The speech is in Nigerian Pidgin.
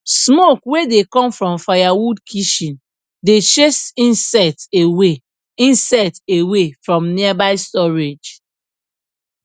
smoke wey dey come from firewood kitchen dey chase insect away insect away from nearby storage